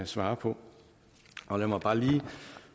svare på lad mig bare lige